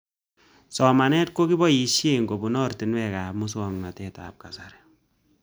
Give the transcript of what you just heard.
Somanet ko kipoishe kopun oratinwek ab muswog'natet ab kasari